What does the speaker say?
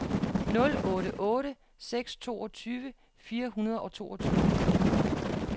nul otte otte seks toogtyve fire hundrede og toogtyve